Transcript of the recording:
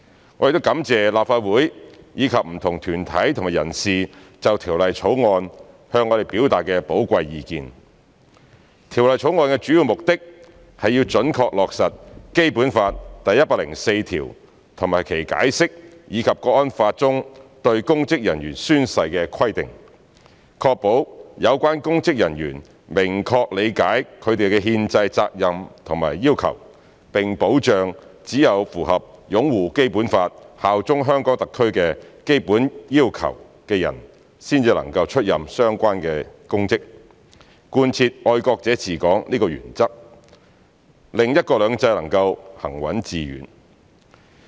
《條例草案》的主要目的，是要準確落實《基本法》第一百零四條及其《關於〈中華人民共和國香港特別行政區基本法〉第一百零四條的解釋》，以及《香港國安法》中對公職人員宣誓的規定，確保有關公職人員明確理解他們的憲制責任和要求，並保障只有符合"擁護《基本法》、效忠香港特區"的基本要求的人才能出任相關公職，貫徹"愛國者治港"這個原則，讓"一國兩制"能夠行穩致遠。